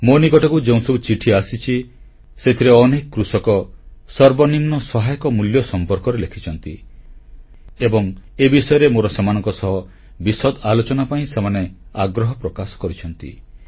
ମୋ ନିକଟକୁ ଯେଉଁସବୁ ଚିଠି ଆସିଛି ସେଥିରେ ଅନେକ କୃଷକ ସର୍ବନିମ୍ନ ସହାୟକ ମୂଲ୍ୟ ସମ୍ପର୍କରେ ଲେଖିଛନ୍ତି ଏବଂ ଏ ବିଷୟରେ ମୋର ସେମାନଙ୍କ ସହ ବିଶଦ ଆଲୋଚନା ପାଇଁ ସେମାନେ ଆଗ୍ରହ ପ୍ରକାଶ କରିଛନ୍ତି